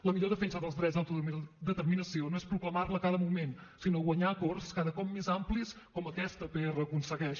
la millor defensa dels drets d’autodeterminació no és proclamar la a cada moment sinó guanyar acords cada cop més amplis com aquesta pr aconsegueix